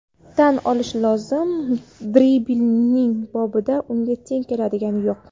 Tan olish lozim, dribling bobida unga teng keladigani yo‘q.